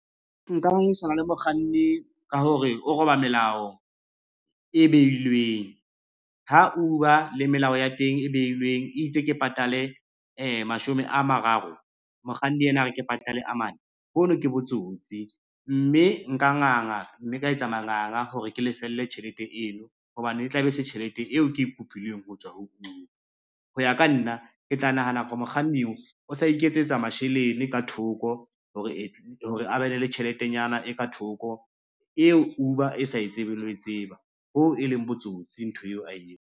Nka le mokganni ka hore o roba melao e beilweng, ha Uber le melao ya teng e beilweng e itse ke patale mashome a mararo, mokganni ena hore ke patale a mane hono ke botsotsi, mme nka nganga mme ka etsa manganga hore ke lefelle tjhelete eno hobane e tla be se tjhelete eo ke e kopileng ho tswa ho Uber. Ho ya ka nna, ke tla nahana ka mokganni o sa iketsetsa masheleng ka thoko hore a be ne le tjheletenyana e ka thoko eo Uber e sa e tsebeng le ho e tseba, ho e leng botsotsi ntho eo a .